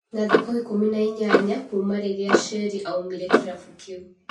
na thikũ ikũmi na inyanya kuuma rĩrĩa Sheri aumĩre kĩrabu kĩu.